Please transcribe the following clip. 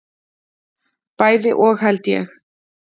Bæði og held ég.